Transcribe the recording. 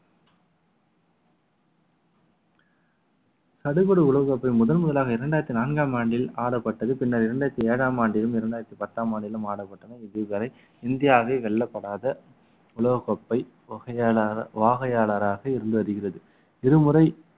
சடுபடு உலக கோப்பை முதன்முதலாக இரண்டாயிரத்தி நான்காம் ஆண்டில் ஆடப்பட்டது பின்னர் இரண்டாயிரத்தி ஏழாம் ஆண்டிலும் இரண்டாயிரத்தி பத்தாம் ஆண்டிலும் ஆடப்பட்டன இதுவரை இந்தியாவே வெல்லப்படாத உலகக் கோப்பை வகையாள~ வாகையாளராக இருந்து வருகிறது இருமுறை